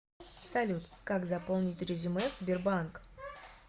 салют как заполнить резюме в сбербанк